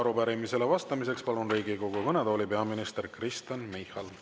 Arupärimisele vastamiseks palun Riigikogu kõnetooli peaminister Kristen Michali.